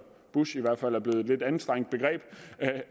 bush i hvert fald er blevet et lidt anstrengt begreb